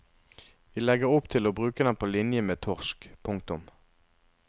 Vi legger opp til å bruke den på linje med torsk. punktum